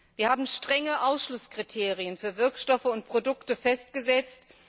Wir haben strenge Ausschlusskriterien für Wirkstoffe und Produkte festgesetzt.